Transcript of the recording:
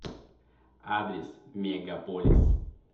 адрес мегаполис